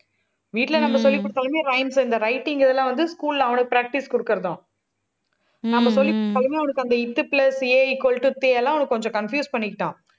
வீட்டுல நம்ம சொல்லிக் கொடுத்தாலுமே, rhymes இந்த writing இதெல்லாம் வந்து, school ல அவனுக்கு practice கொடுக்கிறது தான். நம்ம சொல்லி கொடுத்தாலுமே அவனுக்கு அந்த த் plus ஏ equal to தெ எல்லாம், அவனுக்கு கொஞ்சம் confuse பண்ணிக்கிட்டான்